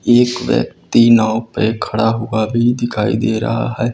एक व्यक्ति नाव पे खड़ा हुआ भी दिखाई दे रहा है।